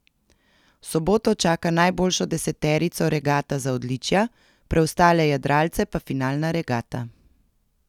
V soboto čaka najboljšo deseterico regata za odličja, preostale jadralce pa finalna regata.